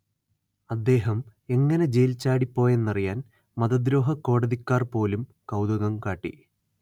അദ്ദേഹം എങ്ങനെ ജെയിൽ ചാടിപ്പോയെന്നറിയാൻ മതദ്രോഹക്കോടതിക്കാർ പോലും കൗതുകം കാട്ടി